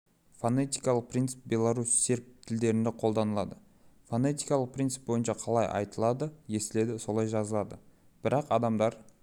фонетикалық принцип белорус серб тілдерінде қолданылады фонетикалық принцип бойынша қалай айтылады естіледі солай жазылады бірақ адамдар